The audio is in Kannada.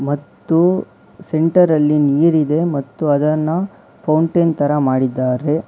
ಮತ್ತು ಸೆಂಟರ್ ಅಲ್ಲಿ ನೀರಿದೆ ಮತ್ತು ಅದನ್ನ ಫೌಂಟೇನ್ ತರ ಮಾಡಿದ್ದಾರೆ.